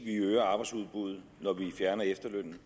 vi øger arbejdsudbuddet når vi fjerner efterlønnen